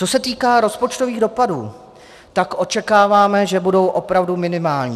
Co se týká rozpočtových dopadů, tak očekáváme, že budou opravdu minimální.